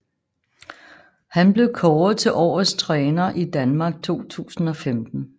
Han blev kåret til årets træner i Danmark i 2015